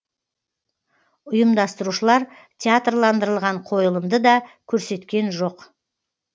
ұйымдастырушылар театрландырылған қойылымды да көрсеткен жоқ